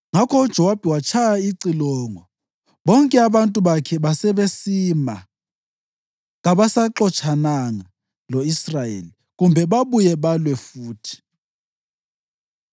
Ngakho uJowabi watshaya icilongo, bonke abantu bakhe basebesima, kabasaxotshananga lo-Israyeli, kumbe babuye balwe futhi.